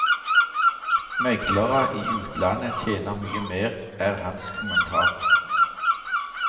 Meglere i utlandet tjener mye mer, er hans kommentar.